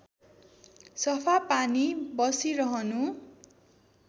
सफा पानी बसिरहनु